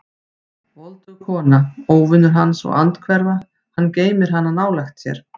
Voldug kona, óvinur hans og andhverfa: hann geymir hana nálægt sér.